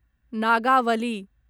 Nagavali